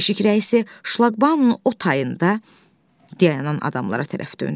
Keşik rəisi şlaqbaun o tayında dayanan adamlara tərəf döndü.